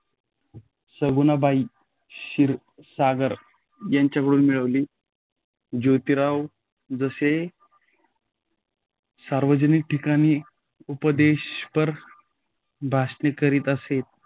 सगुणाबाई क्षिरसागर यांच्याकडून मिळाली. जोतीराव जसे सार्वजनिक ठिकाणी उपदेशपर भाषणे करीत असे.